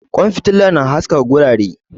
Kwan fitila na haskaka wurare